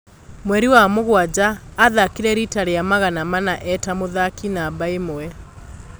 Mweri wa mũgwanja athakire riita rĩa magana mana eta mũthaki namba imwe.